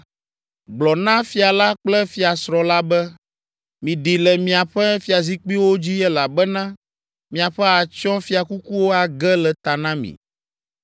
Gblɔ na fia la kple fiasrɔ̃ la be, “Miɖi le miaƒe fiazikpuiwo dzi elabena miaƒe atsyɔ̃fiakukuwo age le ta na mi.”